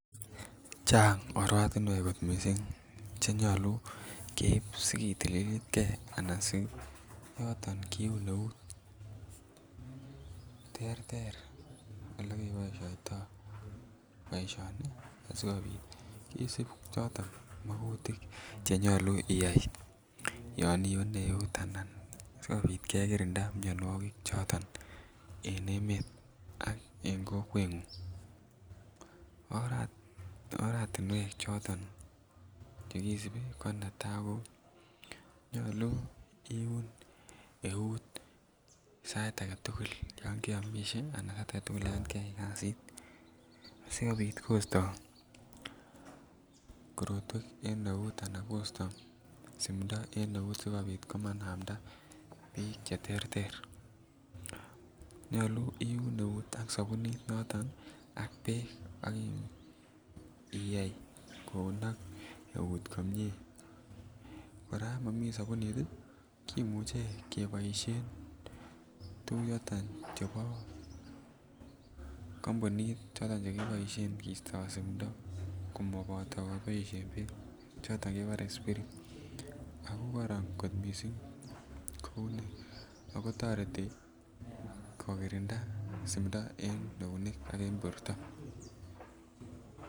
chang oratinweek kot mising chenyolu keiib sigetililit gee anan ne noton kiuun neuut, terter elegeboishoitoo boishoni asigobiit kisiib choton mogutiik chenyolu iyaai yon iune eeut anan sigobiit kegirinda myonwogik choton en emeet ak en kokweet ngung oratinweek choton chegisibi, ko netaa koo nyolu iiun neuut sait agetugul anan yaan keyaai kasiit sigobiit kosto korotweek en euut anan kostoo siimndo en euut sigobiit komanamda biik cheterter, nyolu iuun neuut ak sabunit noton iih ak beek iyaai kounok neuut komyee, koraa yon momii sabuniit iih kimuche keboishen tuguk choton chebo kompuniit choton chegiboishen keisto sumndo komoboto keboishen beek choton chegibor spirit ago kororon mising ago toreti kogirinda simndo en euneek ak en borto.